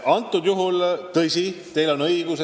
Aga tõsi, teil on õigus.